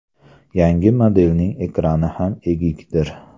Yangi modelning ekrani ham egikdir.